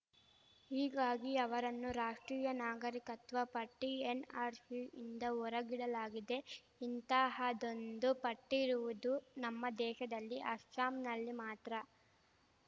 ಹೀಗಾಗಿ ಅವರನ್ನು ರಾಷ್ಟ್ರೀಯ ನಾಗರಿಕತ್ವ ಪಟ್ಟಿಎನ್‌ಆರ್‌ಶಿಯಿಂದ ಹೊರಗಿಡಲಾಗಿದೆ ಇಂತಹದ್ದೊಂದು ಪಟ್ಟಿಇರುವುದು ನಮ್ಮ ದೇಶದಲ್ಲಿ ಅಸ್ಸಾಂನಲ್ಲಿ ಮಾತ್ರ